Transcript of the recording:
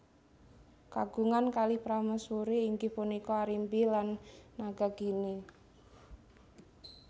Kagungan kalih prameswuri inggih punika Arimbi lan Nagagini